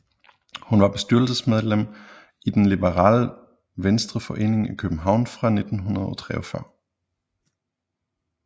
Hun var bestyrelsesmedlem i Den liberale Venstreforening i København fra 1943